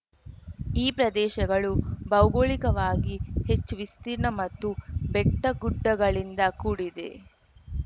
ಈ ಪ್ರದೇಶಗಳು ಭೌಗೋಳಿಕವಾಗಿ ಹೆಚ್ಚು ವಿಸ್ತೀರ್ಣ ಮತ್ತು ಬೆಟ್ಟಗುಡ್ಡಗಳಿಂದ ಕೂಡಿದೆ